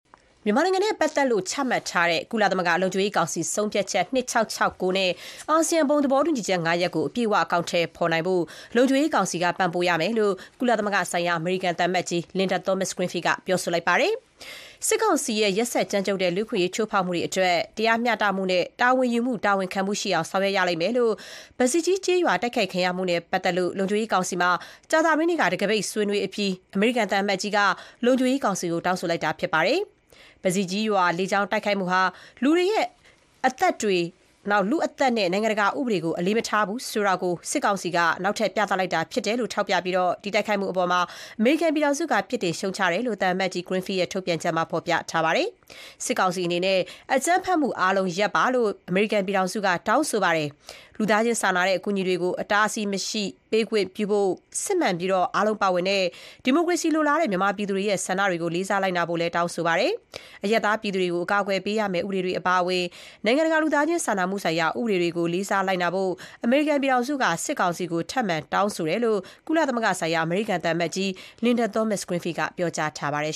မြန်မာနိုင်ငံနဲ့ပတ်သက်လို့ ချမှတ်ထားတဲ့ ကုလသမဂ္ဂ လုံခြုံရေးကောင်စီ ဆုံးဖြတ်ချက် ၂၆၆၉ နဲ့ အာဆီယံ ဘုံသဘောတူညီချက် ၅ ရပ်ကို အပြည့်အဝ အကောင်ထည်ဖော်နိုင်ဖို့ လုံခြုံရေးကောင်စီက ပံ့ပိုးရမယ်လို့ ကုလသမဂ္ဂဆိုင်ရာ အမေရိကန်သံအမတ်ကြီး Linda Thomas-Greenfield က တောင်းဆိုလိုက်ပါတယ်။ စစ်ကောင်စီရဲ့ ရက်စက်ကြမ်းကြုတ်တဲ့ လူ့အခွင့်အရေး ချိုးဖောက်မှုတွေအတွက် တရားမျှတမှုနဲ့ တာဝန်ယူမှု တာဝန်ခံမှုရှိအောင် ဆောင်ရွက်ရလိမ့်မယ်လို့ ပဇီကြီးကျေးရွာတိုက်ခိုက်ခံရမှုနဲ့ပါတ်သက်လို့ လုံခြုံရေးကောင်စီမှာ ကြာသပတေးနေ့က တံခါးပိတ်ဆွေးနွေးအပြီး အမေရိကန်သံအမတ်ကြီးက လုံခြုံရေးကောင်စီကို တောင်းဆိုလိုက်တာဖြစ်ပါတယ်။ ပဇီကြီးရွာ လေကြောင်း တိုက်ခိုက်မှုဟာ လူတွေရဲ့ အသက်တွေနဲ့ နိုင်ငံတကာဥပဒေကို အလေးမထားဘူးဆိုတာ စစ်ကောင်စီက နောက်ထပ် ပြသလိုက်တာဖြစ်တယ်လို့ ထောက်ပြပြီး ဒီတိုက်ခိုက်မှုအပေါ် အမေရိကန်ပြည်ထောင်စုက ပြစ်တင်ရှုတ်ချတယ်လို့ သံအမတ်ကြီး Greenfield ရဲ့ ထုတ်ပြန်ချက်မှာ ဖော်ပြပါတယ်။ စစ်ကောင်စီအနေနဲ့ အကြမ်းဖက်မှုအားလုံး ရပ်ပါလို့ အမေရိကန်ပြည်ထောင်စုက တောင်းဆိုပါတယ်။ လူသားချင်းစာနာတဲ့အကူအညီတွေကို အတားအဆီးမရှိ ပေးခွင့်ပြုဖို့၊ စစ်မှန်ပြီး အားလုံးပါဝင်တဲ့ဒီမိုကရေစီလိုလားတဲ့ မြန်မာပြည်သူတွေရဲ့ ဆန္ဒတွေကို လေးစားလိုက်နာဖို့လည်း တောင်းဆိုပါတယ်။ အရပ်သားပြည်သူတွေကို အကာအကွယ်ပေးရမယ့် ဥပဒေတွေအပါအဝင် နိုင်ငံတကာ လူသားချင်းစာနာမှုဆိုင်ရာ ဥပဒေတွေကို လေးစားလိုက်နာပါလို့ စစ်ကောင်စီကို အမေရိကန်ပြည်ထောင်စုက ထပ်မံတောင်းဆိုတယ်လို့ ကုလသမဂ္ဂဆိုင်ရာ အမေရိကန်သံအမတ်ကြီး Linda Thomas-Greenfield ကပြောကြားထားပါတယ်